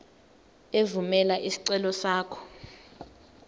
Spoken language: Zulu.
evumela isicelo sakho